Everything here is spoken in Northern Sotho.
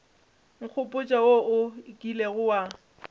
nkgopotša wo o kilego wa